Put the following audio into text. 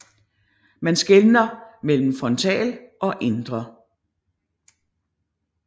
Man skelner mellem frontal og indre